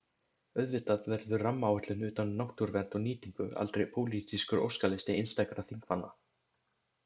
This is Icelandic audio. Auðvitað verður rammaáætlun utan um náttúruvernd og nýtingu aldrei pólitískur óskalisti einstakra þingmanna.